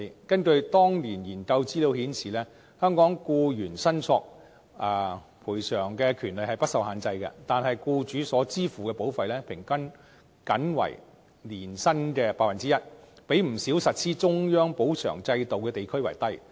根據當年研究資料顯示，香港僱員申索賠償的權利不受限制，但僱主所支付的保費平均僅為年薪的 1%， 比不少實施中央補償制度的地區為低。